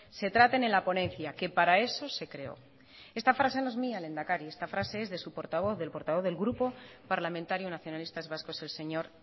se traten en la ponencia que para eso se creó esta frase no es mía lehendakari esta frase es de su portavoz del portavoz del grupo parlamentario nacionalistas vascos el señor